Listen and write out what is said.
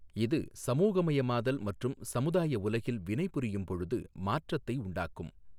இது சமூகமயமாதல் மற்றும் சமுதாய உலகில் வினைபுரியும் பொழுது மாற்றத்தை உண்டாக்கும்.